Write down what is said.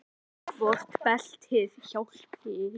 Hvort beltið hjálpi?